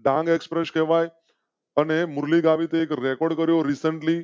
Dang express કેવાય અને મુરલી ગાવીત એક રેકોર્ડ કરો. રિસેંટલી